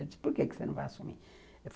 Eu disse, por que você não vai assumir?